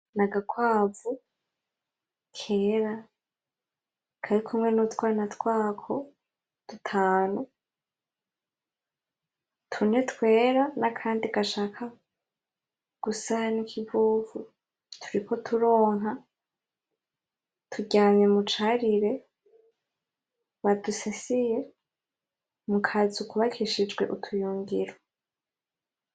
N'agakwavu kera karikumwe n'utwana twako dutanu, tune twera n'akandi gashaka gusa n'ikivuvu turiko turonka, turyamye mu carire badusasiye mu kazu kubakishijwe utuyungiro.